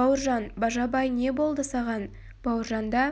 бауыржан бажабай не болды саған бауыржанда